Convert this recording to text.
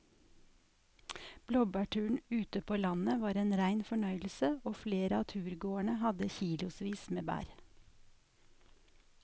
Blåbærturen ute på landet var en rein fornøyelse og flere av turgåerene hadde kilosvis med bær.